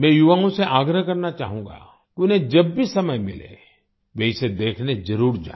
मैं युवाओं से आग्रह करना चाहूँगा कि उन्हें जब भी समय मिले वे इसे देखने जरुर जाएँ